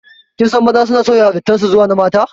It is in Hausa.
Kinsan maza suna sauya halittan su zuwa na mata